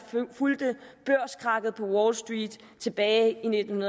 fulgte børskrakket på wall street tilbage i nitten